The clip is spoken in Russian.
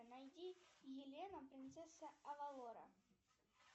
найди елена принцесса авалора